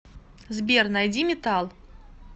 сбер найди метал